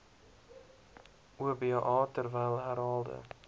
oba terwyl herhaalde